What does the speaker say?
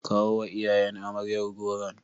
Kawo wa iyayen amaryar goron.